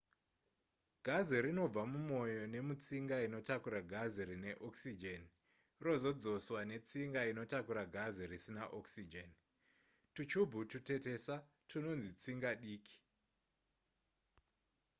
gazi rinobva mumoyo nemutsinga inotakura gazi rine okisijeni rozodzoswa netsinga inotakura gazi risina okisijeni twuchubhu twutetesa twunonzi tsinga diki